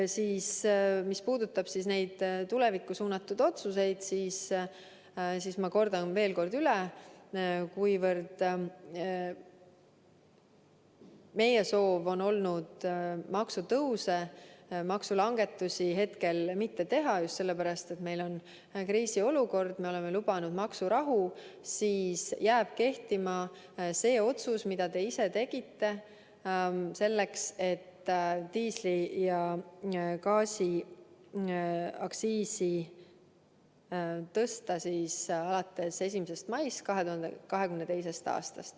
Mis puudutab tulevikku suunatud otsuseid, kordan veel üle: kuivõrd meie soov on olnud maksutõuse ega maksulangetusi mitte teha, just sellepärast, et meil on kriisiolukord ja me oleme lubanud maksurahu, siis jääb kehtima see otsus, mida te ise tegite, nimelt see, et diisli- ja gaasiaktsiisi tuleb tõsta alates 1. maist 2022. aastal.